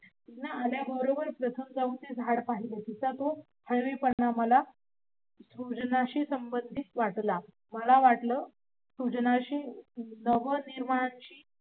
मूल आल्या बरोबर प्रथम जाऊन झाडाकडे पाहिलं. तीत्ल त्यो हरीपण मला सृजनाशी सम्भंदित वाटला. मला वाटलं सृजनाशी